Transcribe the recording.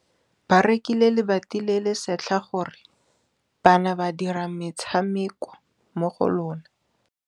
Ba rekile lebati le le setlha gore bana ba dire motshameko mo go lona.